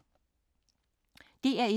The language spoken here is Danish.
DR1